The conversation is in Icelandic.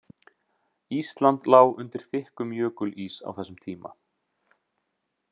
Ísland lá undir þykkum jökulís á þessum tíma.